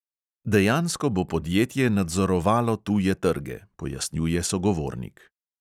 "Dejansko bo podjetje nadzorovalo tuje trge," pojasnjuje sogovornik.